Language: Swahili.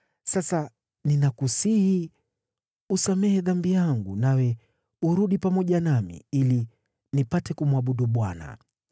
Sasa ninakusihi usamehe dhambi yangu, nawe urudi pamoja nami, ili nipate kumwabudu Bwana .”